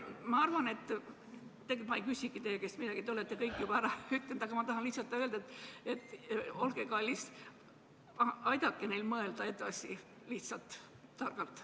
Ma ei küsi teie käest midagi, te olete kõik juba ära öelnud, aga ma tahan öelda seda, et olge kallis, aidake neil targalt edasi mõelda.